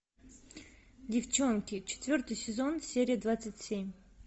девчонки четвертый сезон серия двадцать семь